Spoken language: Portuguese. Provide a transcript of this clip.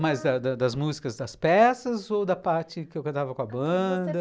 Mas das das das músicas, das peças ou da parte que eu cantava com a banda? a que você